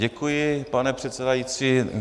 Děkuji, pane předsedající.